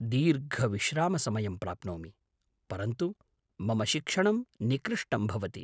दीर्घविश्रामसमयं प्राप्नोमि, परन्तु मम शिक्षणं निकृष्टं भवति।